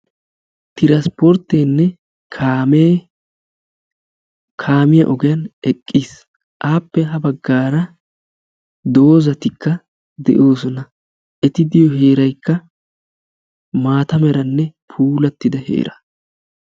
Transporttenne kaame kaamiya ogiyan eqqiis. Appe ha baggaara doozatikka de'oosona. Eti diyo heeraykka maata meranne puulattida heera.